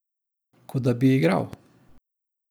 Kot da bi igral ...